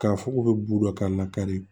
K'a fɔ k'u bɛ bu dɔ k'a la kari